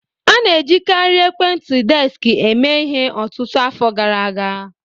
A na-ejikarị ekwentị desk mee ihe ọtụtụ afọ gara aga